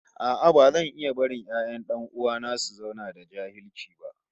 No, I won't watch my brother's children remain illiterate